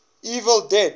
evil dead